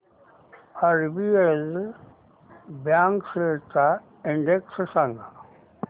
RBL bank shares चा index सांगा